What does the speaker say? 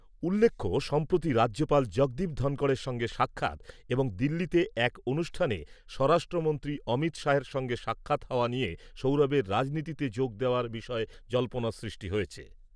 উল্লেখ্য, সম্প্রতি রাজ্যপাল জগদীপ ধনখড়ের সঙ্গে সাক্ষাৎ এবং দিল্লিতে এক অনুষ্ঠানে স্বরাষ্ট্রমন্ত্রী অমিত শাহ্ এর সঙ্গে দেখা হওয়া নিয়ে সৌরভের রাজনীতিতে যোগ দেওয়ার বিষয়ে জল্পনার সৃষ্টি হয়েছে।